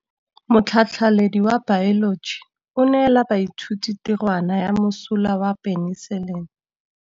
Motlhatlhaledi wa baeloji o neela baithuti tirwana ya mosola wa peniselene.